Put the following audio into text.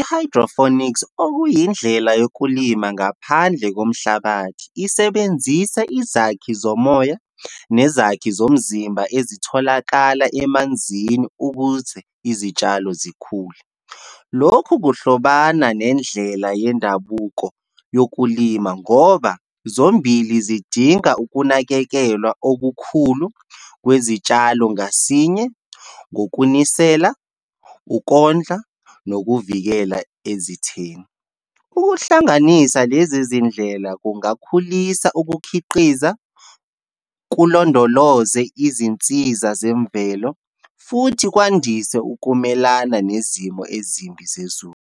I-hydroponics, okuyindlela yokulima ngaphandle komhlabathi, isebenzisa izakhi zomoya, nezakhi zomzimba ezitholakala emanzini ukuze izitshalo zikhule. Lokhu kuhlobana nendlela yendabuko yokulima, ngoba zombili zidinga ukunakekelwa okukhulu kwezitshalo ngasinye, ngokunisela, ukondla nokuvikela ezitheni. Ukuhlanganisa lezi zindlela kungakhulisa ukukhiqiza, kulondoloze izinsiza zemvelo, futhi kwandise ukumelana nezimo ezimbi zezulu.